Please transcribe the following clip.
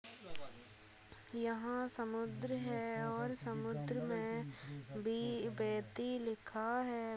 यहाँ समुद्र है और समुद्र मे लिखा है।